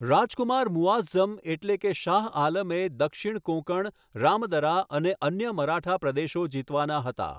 રાજકુમાર મુઆઝ્ઝમ એટલે કે શાહ આલમે દક્ષિણ કોંકણ, રામદરા અને અન્ય મરાઠા પ્રદેશો જીતવાના હતા.